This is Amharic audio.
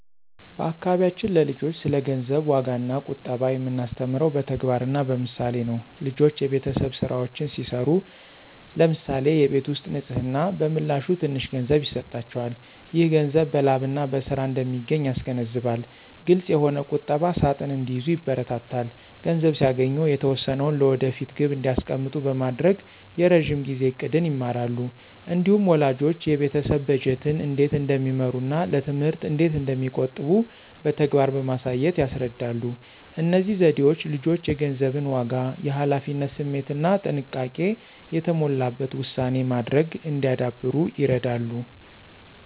በአካባቢያችን ለልጆች ስለ ገንዘብ ዋጋና ቁጠባ የምናስተምረው በተግባርና በምሳሌ ነው። ልጆች የቤተሰብ ሥራዎችን ሲሠሩ (ለምሳሌ የቤት ውስጥ ንፅህና) በምላሹ ትንሽ ገንዘብ ይሰጣቸዋል። ይህ ገንዘብ በላብና በሥራ እንደሚገኝ ያስገነዝባል። ግልፅ የሆነ ቁጠባ ሣጥን እንዲይዙ ይበረታታሉ። ገንዘብ ሲያገኙ የተወሰነውን ለወደፊት ግብ እንዲያስቀምጡ በማድረግ የረዥም ጊዜ ዕቅድን ይማራሉ። እንዲሁም ወላጆች የቤተሰብ በጀትን እንዴት እንደሚመሩና ለትምህርት እንዴት እንደሚቆጥቡ በተግባር በማሳየት ያስረዳሉ። እነዚህ ዘዴዎች ልጆች የገንዘብን ዋጋ፣ የኃላፊነት ስሜትና ጥንቃቄ የተሞላበት ውሳኔ ማድረግ እንዲያዳብሩ ይረዳሉ።